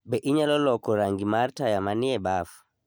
Be inyalo loko rangi mar taya manie baf?